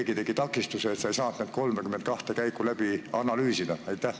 Või keegi takistas sind, et sa ei saanud neid 32 käiku läbi analüüsida?